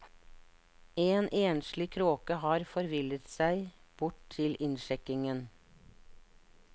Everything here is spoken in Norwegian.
En enslig kråke har forvillet seg bort til innsjekkingen.